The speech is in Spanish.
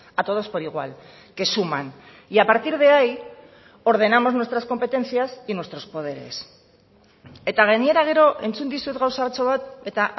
a todos por igual que suman y a partir de ahí ordenamos nuestras competencias y nuestros poderes eta gainera gero entzun dizut gauzatxo bat eta